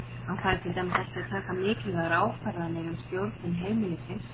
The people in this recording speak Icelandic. Hann fær til dæmis ekki að taka mikilvægar ákvarðanir um stjórnun heimilisins.